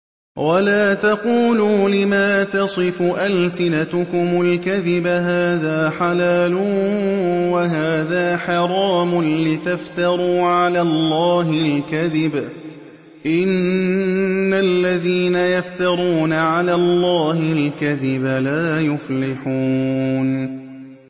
وَلَا تَقُولُوا لِمَا تَصِفُ أَلْسِنَتُكُمُ الْكَذِبَ هَٰذَا حَلَالٌ وَهَٰذَا حَرَامٌ لِّتَفْتَرُوا عَلَى اللَّهِ الْكَذِبَ ۚ إِنَّ الَّذِينَ يَفْتَرُونَ عَلَى اللَّهِ الْكَذِبَ لَا يُفْلِحُونَ